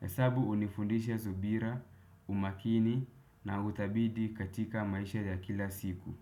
Hesabu hunifundisha subira, umakini na utabidi katika maisha ya kila siku.